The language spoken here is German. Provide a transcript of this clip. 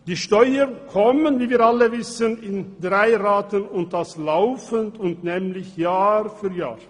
Die Steuern kommen – wie wir alle wissen – in drei Ratenrechnungen und das laufend und nämlich Jahr für Jahr.